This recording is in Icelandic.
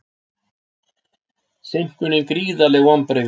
Seinkunin gríðarleg vonbrigði